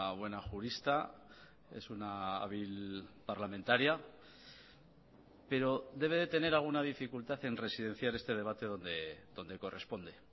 buena jurista es una hábil parlamentaria pero debe de tener alguna dificultad en residenciar este debate donde corresponde